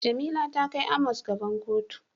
Jamila ta kai Amos gaban kotu.